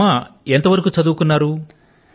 మీ అమ్మ గారు ఎంత వరకు చదువుకున్నారు